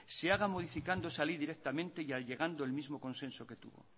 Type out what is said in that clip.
se haga modificando esa ley directamente y llegando el mismo consenso que tuvo